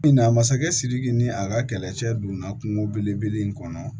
Na masakɛ sidiki ni a ka kɛlɛcɛ donna kungo belebele in kɔnɔ